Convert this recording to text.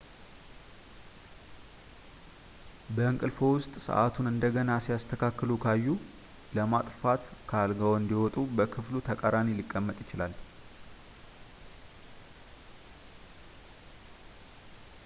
በእንቅልፍዎ ውስጥ ሰዓቱን እንደገና ሲያስተካክሉ ካዩ ፣ ለማጥፋትት ከአልጋዎ እንዲወጡ በክፍሉ ተቃራኒ ሊቀመጥ ይችላል